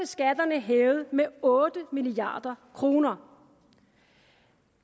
skatterne hævet med otte milliard kroner